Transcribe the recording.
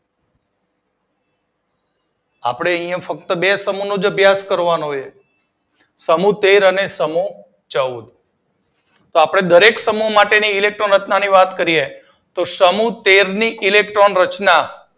આપડે ફક્ત અહિયાં બે જ સમૂહનો અભ્યાસ કરવાનો હોય છે. સમૂહ તેર અને ચૌદ. તો આપડે દરેક સમૂહ માટેની ઇલેક્ટ્રોન રચના ની વાત કરીએ તો સમૂહ તેર ની ઇલેક્ટ્રોન રચના